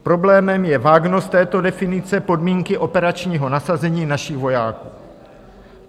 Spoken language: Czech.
Problémem je vágnost této definice podmínky operačního nasazení našich vojáků.